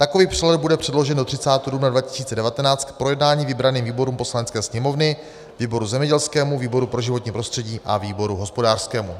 Takový přehled bude předložen do 30. dubna 2019 k projednání vybraným výborům Poslanecké sněmovny - výboru zemědělskému, výboru pro životní prostředí a výboru hospodářskému."